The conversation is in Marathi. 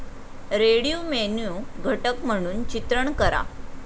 रेडियो मेन्यु घटक म्हणून चित्रण करा